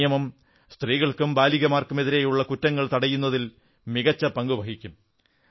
ഈ നിയമം സ്ത്രീകൾക്കും ബാലികമാർക്കുമെതിരെയുള്ള കുറ്റങ്ങൾ തടയുന്നതിൽ മികച്ച പങ്കു വഹിക്കും